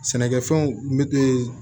Sɛnɛkɛfɛnw n bɛ